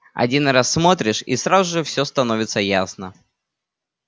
один раз смотришь и сразу же всё становится ясно